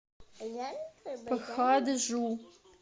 пхаджу